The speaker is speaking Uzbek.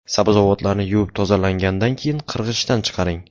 Sabzavotlarni yuvib tozalagandan keyin qirg‘ichdan chiqaring.